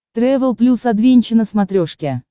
трэвел плюс адвенча на смотрешке